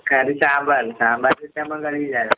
കറി സാമ്പാറ്. സാമ്പാറ് വിട്ടമ്മള് കളിയില്ലാലോ.